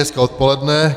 Hezké odpoledne.